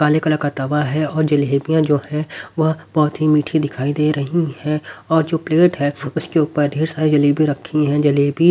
काले कलर का तवा है और जलेबियां जो है वह बहुत ही मीठी दिखाई दे रही है और जो प्लेट है उसके ऊपर ढेर सारी जलेबी रखी हैं जलेबी--